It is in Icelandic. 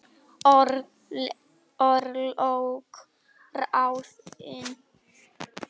Örlög ráðin